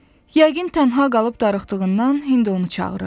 Yəqin tənha qalıb darıxdığından indi onu çağırırdı.